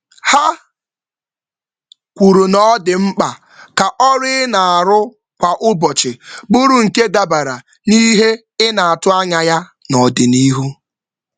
Ha kwusiri ike na ọ dị mkpa ịhazi ọrụ kwa ụbọchị na ebumnuche ọrụ ogologo oge.